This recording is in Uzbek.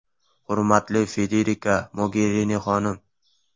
Hurmatli Federika Mogerini xonim!